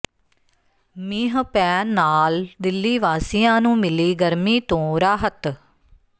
ਮੀਂਹ ਪੈਣ ਨਾਲ ਦਿੱਲੀ ਵਾਸੀਆਂ ਨੂੰ ਮਿਲੀ ਗਰਮੀ ਤੋਂ ਰਾਹਤ